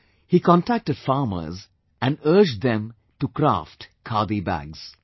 He contacted farmers and urged them to craft khadi bags